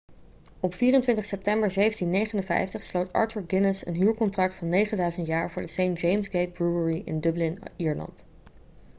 op 24 september 1759 sloot arthur guinness een huurcontract van 9000 jaar voor de st james' gate brewery in dublin ierland